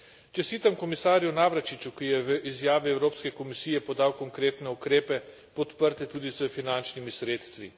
Čestitam komisarju Navracsicsu, ki je v izjavi Evropske komisije podal konkretne ukrepe, podprte tudi s finančnimi sredstvi.